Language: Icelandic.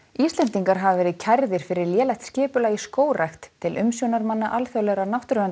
Íslendingar hafa verið kærðir fyrir lélegt skipulag í skógrækt til umsjónarmanna alþjóðlegra